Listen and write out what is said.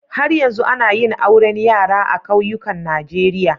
Har yanzu ana yin auren yara a kauyukan Najeriya